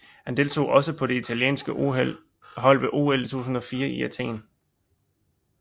Han deltog også på det italienske hold ved OL 2004 i Athen